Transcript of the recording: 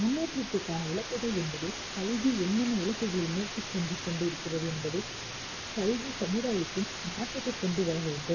முன்னேற்றத்திற்கான இலக்குகள் என்பது கல்வி என்னென்ன இலக்குகளை நோக்கிச் சென்று கொண்டு இருக்கிறது என்பதை கல்வி சமுதாயத்தில் மாற்றத்தைக் கொண்டு வர வேண்டும்